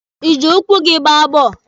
Ị jị ụkwụ gị gbaa bọọlụ?